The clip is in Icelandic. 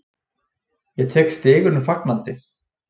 Ég tek stigunum fagnandi.